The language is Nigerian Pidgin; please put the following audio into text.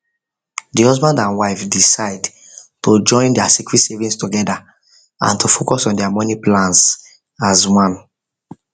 the husband and wife decide to join their secret savings together and to focus on their money plans as one